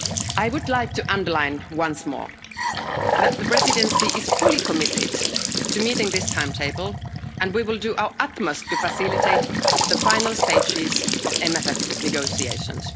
I would like to underline once more that the Presidency is fully committed to meeting this timetable and we will do our utmost to facilitate the final stages of the MFF negotiations.